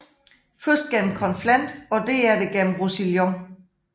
Først gennem Conflent og derefter gennem Roussillon